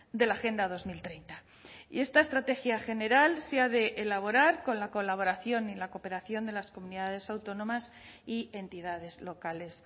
de la agenda dos mil treinta y esta estrategia general se ha de elaborar con la colaboración y la cooperación de las comunidades autónomas y entidades locales